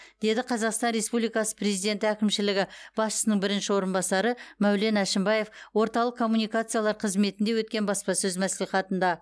деді қазақстан республикасы президенті әкімшілігі басшысының бірінші орынбасары мәулен әшімбаев орталық коммуникациялар қызметінде өткен баспасөз мәслихатында